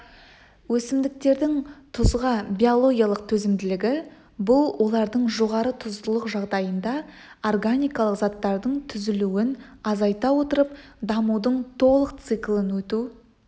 өсімдіктердің тұзға биологиялық төзімділігі бұл олардың жоғары тұздылық жағдайында органикалық заттардың түзілуін азайта отырып дамудың толық циклін өту